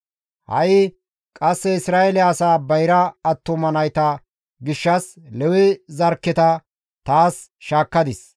Ha7i qasse Isra7eele asaa bayra attuma nayta gishshas Lewe zarkketa taas shaakkadis.